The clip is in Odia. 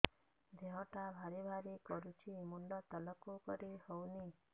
ଦେହଟା ଭାରି ଭାରି କରୁଛି ମୁଣ୍ଡ ତଳକୁ କରି ହେଉନି